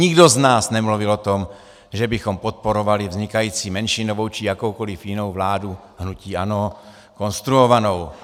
Nikdo z nás nemluvil o tom, že bychom podporovali vznikající menšinovou či jakoukoliv jinou vládu hnutí ANO konstruovanou.